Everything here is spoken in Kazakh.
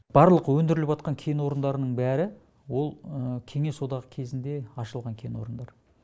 барлық өндіріватқан кен орындарының бәрі ол кеңес одағы кезінде ашылған кен орындар